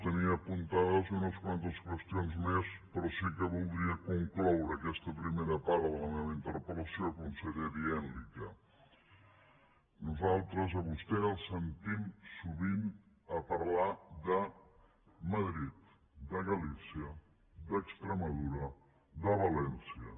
tenia apuntades unes quantes qüestions més però sí que voldria concloure aquesta primera part de la meva interpel·lació conseller dient li que nosaltres a vostè el sentim sovint parlar de madrid de galícia d’extremadura de valència